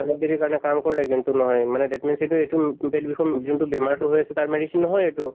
অলপ দেৰি কাৰণে কাম কৰে কিন্তু নহয় মানে that means এইটো এইটো পেট বিষৰ যোনটো বেমাৰটো হৈ আছে তাৰ medicine নহয় এইটো।